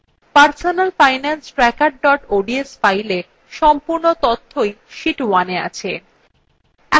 personalfinancetracker ods file সম্পূর্ণ তথ্যই sheet 1এ আছে